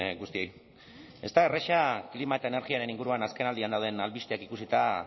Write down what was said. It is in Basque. guztioi ez da erraza klima eta energiaren inguruan azkenaldian dauden albisteak ikusita